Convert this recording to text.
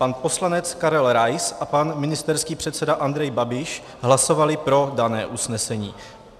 Pan poslanec Karel Rais a pan ministerský předseda Andrej Babiš hlasovali pro dané usnesení.